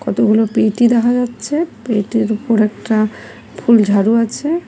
কতগুলো পেটি দেখা যাচ্ছে পেটির উপর একটা ফুলঝাড়ু আছে।